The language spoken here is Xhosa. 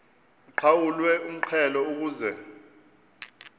uqhawulwe umxhelo ukuze